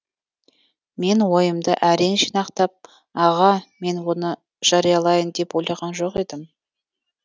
мен ойымды әрең жинақтап аға мен оны жариялайын деп ойлаған жоқ едім